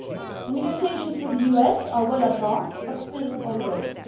The negotiations with the US are well advanced but still ongoing.